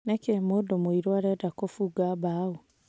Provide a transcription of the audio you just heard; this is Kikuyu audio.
Nĩkĩ mũndũ mũirũ arenda kufunga mbaũ?"